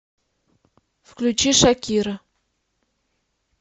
включи шакира